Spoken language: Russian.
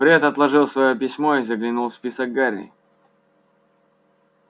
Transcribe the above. фред отложил своё письмо и заглянул в список гарри